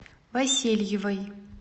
васильевой